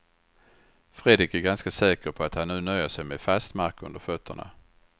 Fredrik är ganska säker på att han nu nöjer sig med fast mark under fötterna.